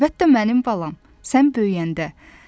Əlbəttə mənim balam, sən böyüyəndə.